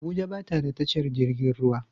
Abuja ba ta da tashar jirgin ruwa